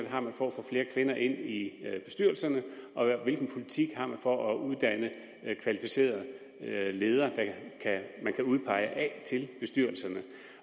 har for at få flere kvinder ind i bestyrelserne og hvilken politik man har for at uddanne kvalificerede ledere man kan udpege til bestyrelserne